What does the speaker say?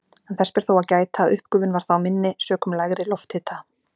En þess ber þó að gæta að uppgufun var þá minni sökum lægri lofthita.